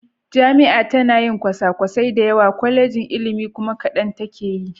Jami'a tana yi kwasakwasai da yawa, Kwallejin ilimi kuma kadan take yi.